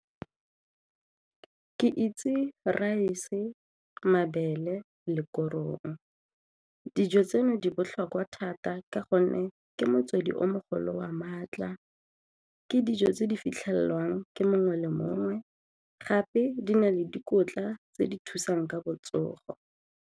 Ke itse raese, mabele le korong. Dijo tseno di botlhokwa thata ka gonne ke motswedi o mogolo wa maatla ke dijo tse di fitlhelwang ke mongwe le mongwe gape di na le dikotla tse di thusang ka botsogo.